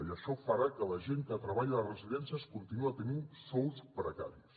i això farà que la gent que treballa a les residències continuï tenint sous precaris